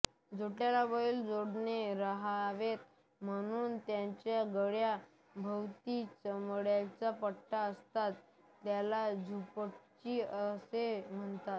जोटयाला बैल जोडले राहावेत म्हणून त्यांच्या गळ्या भोवती चामड्याचा पट्टा असतो त्याला झुंपणी असे म्हणतात